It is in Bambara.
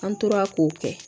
An tora k'o kɛ